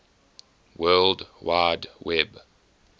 world wide web